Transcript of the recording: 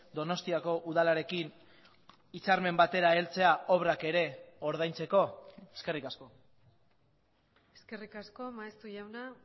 donostiako udalarekin hitzarmen batera heltzea obrak ere ordaintzeko eskerrik asko eskerrik asko maeztu jauna